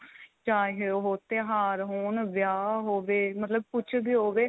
ਚਾਹੇ ਉਹ ਤਿਉਹਾਰ ਹੋਣ ਵਿਆਹ ਹੋਵੇ ਮਤਲਬ ਕੁੱਝ ਵੀ ਹੋਵੇ